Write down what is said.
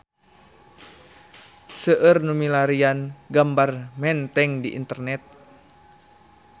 Seueur nu milarian gambar Menteng di internet